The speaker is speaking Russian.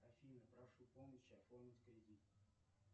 афина прошу помощи оформить кредит